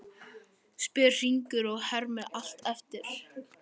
spyr Hringur og hermir allt eftir.